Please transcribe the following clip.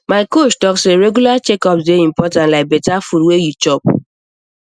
my coach talk say regular checkups dey important like better food wey you chop